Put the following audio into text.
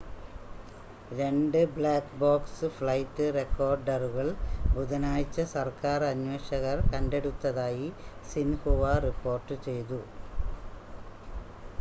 രണ്ട് black box flight റെക്കോർഡറുകൾ ബുധനാഴ്ച സർക്കാർ അന്വേഷകർ കണ്ടെടുത്തതായി സിൻഹുവ റിപ്പോർട്ട് ചെയ്തു